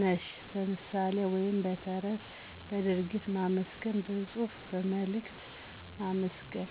/ነሽ ;" በምሣሌ ወይም በተረት በድርጊት ማመስገን በጽሑፍ መልእክት ማመስገን